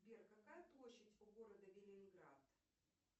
сбер какая площадь у города ленинград